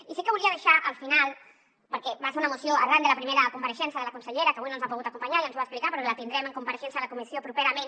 i sí que ho volia deixar al final perquè va ser una moció arran de la primera compareixença de la consellera que avui no ens ha pogut acompanyar ja ens ho va explicar però que la tindrem en compareixença a la comissió properament